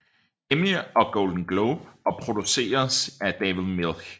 Emmy og Golden Globe og produceres af David Milch